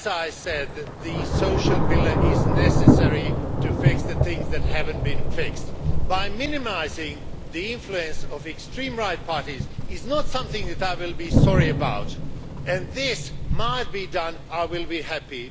As I said, the Social Pillar is necessary to fix the things that have not been fixed. Minimising the influence of extreme right parties is not something that I will be sorry about, and if this is done, I will be happy.